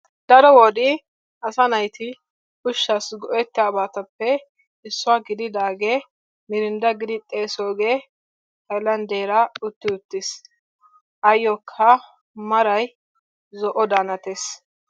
Daro wode asa nayti ushshaassi go'ettabatuppe issuwa gididaagee mirindda gidi xeesoogee haylanddeera utti uttiis. Ayyokka maray zo'odan hanees.